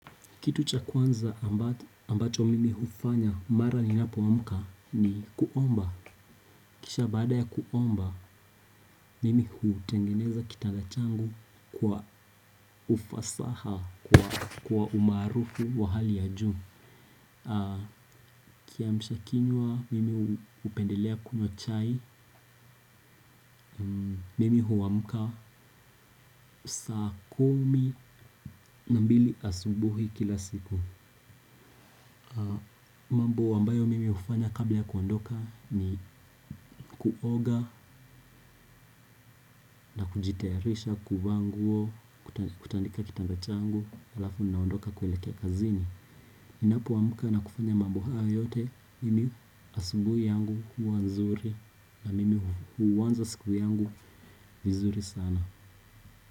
Kitu cha kwanza ambacho mimi hufanya mara ninapoamka ni kuomba. Kisha baada ya kuomba, mimi hutengeneza kitanda changu kwa ufasaha, kwa umaarufu wa hali ya juu. Kiamsha kinywa mimi hupendelea kunywa chai, mimi huamka saa kumi na mbili asubuhi kila siku. Mambo ambayo mimi hufanya kabla ya kuondoka ni kuoga na kujitayarisha kuvaa nguo, kutandika kitanda changu halafu ninaondoka kuelekea kazini. Ninapoamka na kufanya mambo haya yote, mimi asubuhi yangu huwa nzuri na mimi huanza siku yangu vizuri sana.